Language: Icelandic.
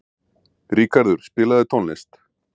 Ríkarður, spilaðu tónlist.